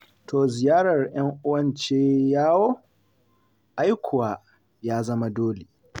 To ziyarar 'yan'uwan ce yawo? Ai kuwa ya zama dole.